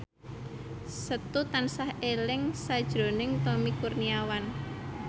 Setu tansah eling sakjroning Tommy Kurniawan